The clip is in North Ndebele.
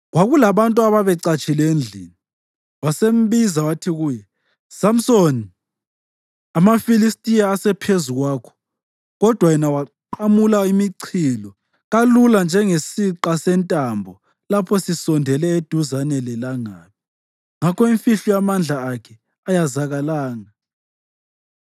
Kwakulabantu ababecatshile endlini, wasembiza wathi kuye, “Samsoni, amaFilistiya asephezu kwakho!” Kodwa yena waqamula imichilo kalula njengesiqa sentambo lapho sisondele eduzane lelangabi. Ngakho imfihlo yamandla akhe ayazakalanga.